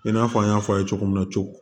I n'a fɔ an y'a fɔ aw ye cogo min na cogo min